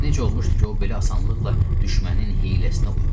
Necə olmuşdu ki, o belə asanlıqla düşmənin hiyləsinə uymuşdu.